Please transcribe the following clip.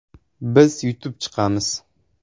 Biz yutib chiqamiz”.